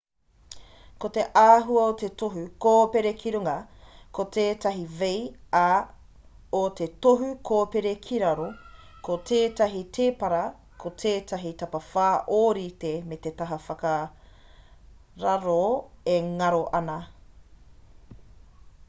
ko te āhua o te tohu kōpere ki runga ko tētahi v ā o te tohu kōpere ki raro ko tētahi tēpara ko tētahi tapawhā ōrite me te taha whakararo e ngaro ana